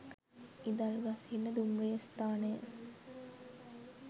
ඉදල්ගස්හින්න දුම්රිය ස්ථානය